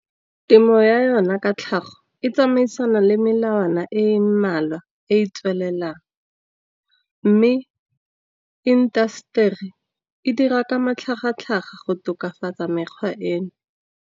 Temo ya yona ka tlhago e tsamaisana le melawana e e mmalwa e e tswelelang. Mme industry e dira ka matlhagatlhaga go tokafatsa mekgwa eno.